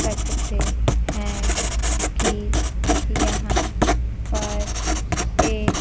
हैं कि यहां पर एक--